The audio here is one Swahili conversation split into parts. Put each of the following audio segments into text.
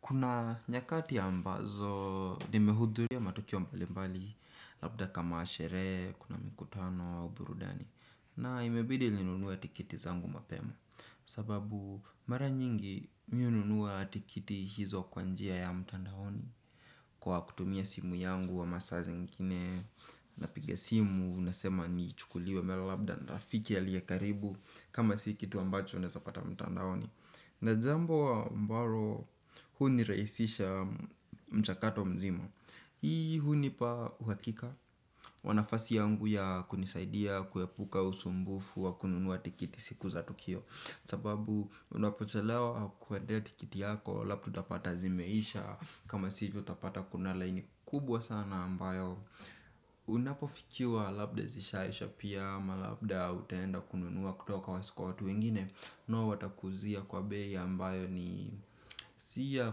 Kuna nyakati ambazo nimehudhuria matukio mbali mbali. Labda kama sherehe, kuna mkutano, uburudani. Na imebidi linunua tikiti zangu mapemo. Sababu mara nyingi mi ununua tikiti hizo kwa njia ya mtandaoni. Kwa kutumia simu yangu wa masaa zingine. Napige simu, nasema ni chukuliwe la labda nrafiki ya liye karibu. Kama sikitu ambacho ndezapata mtandahoni. Na jambo ambaro huni reisisha mchakato mzima. Hii hunipa uhakika wa nafasi yangu ya kunisaidia kuepuka usumbufu wa kununua tikiti siku za Tukio. Sababu unapotolewa kuwedea tikiti yako Lapu utapata zimeisha kama sivyo utapata kunala ini kubwa sana ambayo unapofikiuwa labda zishaisha pia ama labda utenda kununuwa kutoka wasi kwa watu wengine. Nua watakuzia kwa bei ambayo ni siya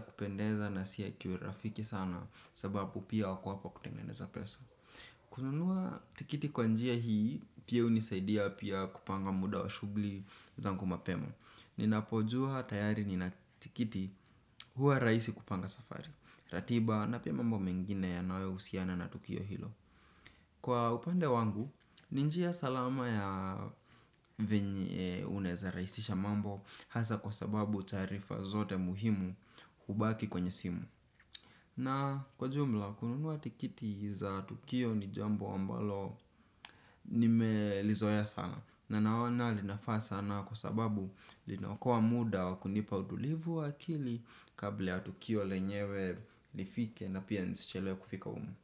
kupendeza na siya kiurafiki sana. Sababu pia wako hapo kutengeneza pesa. Kununua tikiti kwa njia hii pia unisaidia pia kupanga muda wa shugli zangu mapema ninapojua tayari ninatikitio huwa raisi kupanga mambo yangu kwa upande wangu ni njia salama ya venye unaraisisha mambo hasa taarifa zote hubaki kwenye simu. Na kwa jumla kununua tikiti za Tukio ni jambo ambalo nimelizoea sana. Na naona linafaa sana kwa sababu linakua muda wakunipa utulivu wakili kabla Tukio lenyewe lifike na pia nisichelewe kufika umu.